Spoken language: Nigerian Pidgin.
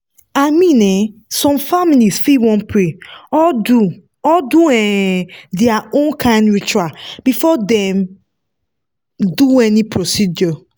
i mean um some families fit wan pray or do or do um their own kind ritual before dem do any procedure.